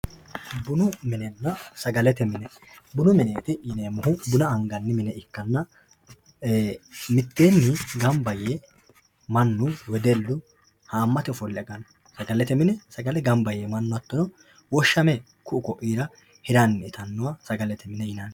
Bunu minena sagalete mine bunu mineeti yinemohu buna angani mine ikanna miteeni ganba yee manu wedelu haamatu ofole agano sagalete mine manu ganba yee hatono woshame ku`u ku`iira hirani itanoha sagalete mine yinani.